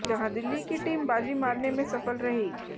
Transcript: जहां दिल्ली की टीम बाजी मारने में सफल रही